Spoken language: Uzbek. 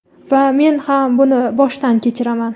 Va men ham buni boshdan kechiraman.